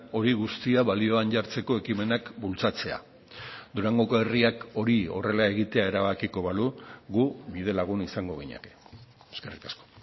hori guztia balioan jartzeko ekimenak bultzatzea durangoko herriak hori horrela egitea erabakiko balu gu bidelagun izango ginateke eskerrik asko